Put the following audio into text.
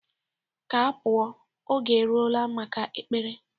Ka a pụọ. Oge erugo maka Ekpere